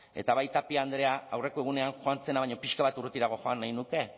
eta bai tapia andrea aurreko egunean joan zena baino pixka bat urrutirago joan nahi nuke